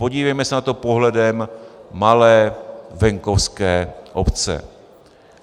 Podívejme se na to pohledem malé venkovské obce.